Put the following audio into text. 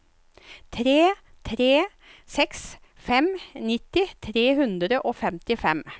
tre tre seks fem nitti tre hundre og femtifem